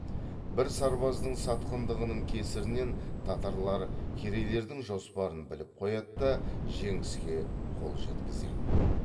бір сарбаздың сатқындығының кесірінен татарлар керейлердің жоспарын біліп қояды да жеңіске қол жеткізеді